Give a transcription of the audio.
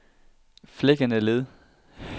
Flækkendeled